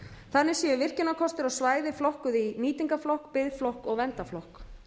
þannig séu virkjunarkostir á svæði flokkuð í nýtingarflokk biðflokk og verndarflokk